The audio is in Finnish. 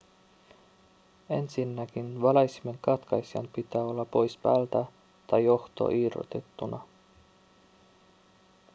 ensinnäkin valaisimen katkaisijan pitää olla pois päältä tai johto irrotettuna